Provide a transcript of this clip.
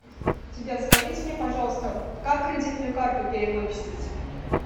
сбер скажите мне пожалуйста как кредитную карту перевыпустить